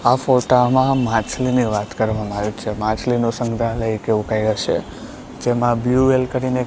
આ ફોટામાં માછલીની વાત કરવામાં આવે છે માછલીનો સંગ્રહાલય એવું કંઈ હશે જેમાં બ્લુ વેલ કરીને--